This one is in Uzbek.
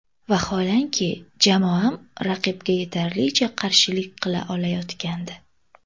Vaholanki jamoam raqibga yetarlicha qarshilik qila olayotgandi.